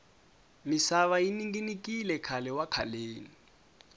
misava yi ninginikile khale wa khaleni